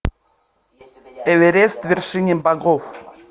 эверест вершина богов